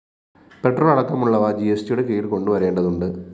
petrol അടക്കമുള്ളവ ജിഎസ്ടിയുടെ കീഴില്‍ കൊണ്ടുവരേണ്ടതുണ്ട്